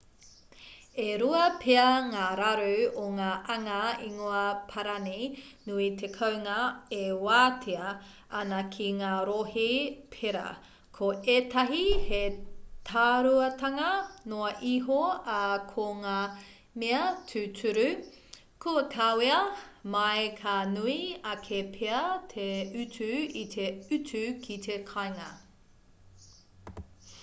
e rua pea ngā raru o ngā anga ingoa-parani nui te kounga e wātea ana ki ngā rohe pērā ko ētahi he tāruatanga noa iho ā ko ngā mea tūturu kua kawea mai ka nui ake pea te utu i te utu ki te kāinga